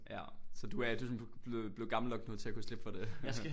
Ja så du er du er sådan blevet blevet gammel nok nu til at kunne slippe for det